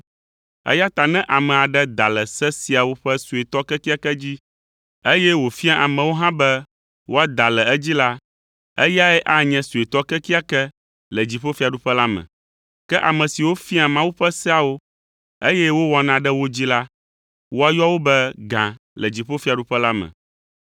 eya ta ne ame aɖe da le se siawo ƒe suetɔ kekeake dzi, eye wòfia amewo hã be woada le edzi la, eyae anye suetɔ kekeake le dziƒofiaɖuƒe la me. Ke ame siwo fiaa Mawu ƒe seawo, eye wowɔna ɖe wo dzi la, woayɔ wo be gã le dziƒofiaɖuƒe la me.